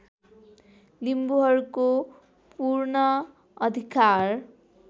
लिम्बुहरूको पूर्ण अधिकार